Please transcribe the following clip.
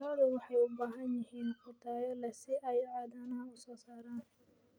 Lo'du waxay u baahan yihiin quud tayo leh si ay caanaha u soo saaraan.